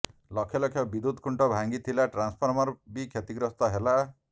ଲକ୍ଷ ଲକ୍ଷ ବିଦ୍ୟୁତ ଖୁଣ୍ଟ ଭାଙ୍ଗିଥିଲା ଟ୍ରାନସଫର୍ମର ବି କ୍ଷତିଗ୍ରସ୍ତ ହେଲା